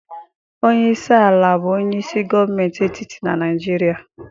Onye isi ala bụ onye isi gọọmentị etiti na Naịjirịa.